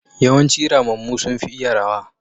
yawanci ramammu sun fi iya rawa.